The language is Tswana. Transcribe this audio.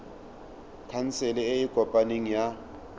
khansele e e kopaneng ya